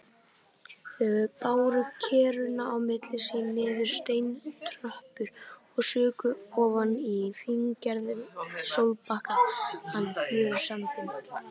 Þau báru kerruna á milli sín niður steintröppur og sukku ofan í fíngerðan, sólbakaðan fjörusandinn.